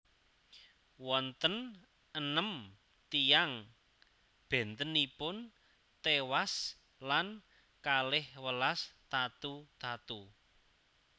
Wonten enem tiyang bèntenipun téwas lan kalih welas tatu tatu